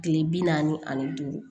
Kile bi naani ni duuru